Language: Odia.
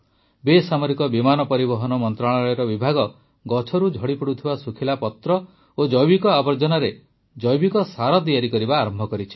ବେସାମରିକ ବିମାନ ପରିବହନ ମନ୍ତ୍ରଣାଳୟର ବିଭାଗ ଗଛରୁ ଝଡ଼ିପଡ଼ିଥିବା ଶୁଖିଲା ପତ୍ର ଓ ଜୈବିକ ଆବର୍ଜନାରେ ଜୈବିକ ସାର ତିଆରି କରିବା ଆରମ୍ଭ କରିଛି